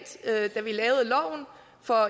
for